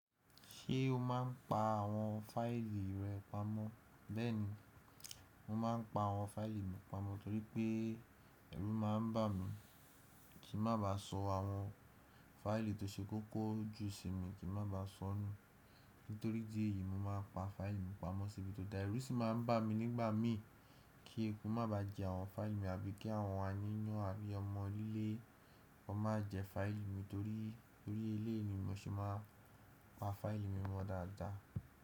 Ṣé o máa ń pa àwọn fáìlì rẹ pamọ́? Bẹ́ẹ̀ni, mo máa ń pa àwọn fáìlì mi pamọ́ torí pé ẹ̀rù máa ń bà mí kí má ba sọ àwọn fáìlì tó ṣe kókó jù sí mi, kí má ba sọ nù. Nítorí ìdí ẹ̀yí mo máa pa fáìlì mi pamọ́ sébì tó dára. Ẹ̀rù sì máa ń bà mí nígbà mí kí eku má ba jẹ àwọn fáìlì mi àbí kí àwọn aáyàn àbí ọmọ onílé wọn má jẹ fáìlì mi torí lórí ilé ni mo ṣe máa pa fáìlì mi mọ dáadáa.